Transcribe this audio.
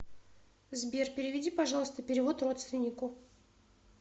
сбер переведи пожалуйста перевод родственнику